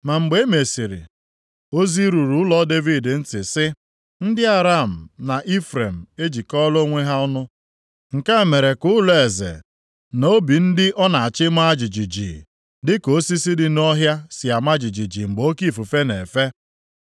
Ma mgbe e mesịrị, ozi ruru ụlọ Devid ntị sị, “Ndị Aram na Ifrem ejikọọla onwe ha ọnụ”; nke a mere ka ụlọeze, na obi ndị ọ na-achị maa jijiji, dịka osisi dị nʼọhịa si ama jijiji mgbe oke ifufe na-efe.